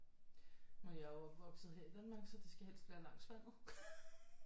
Nu er jeg jo opvokset her i Danmark så det skal helst være langs vandet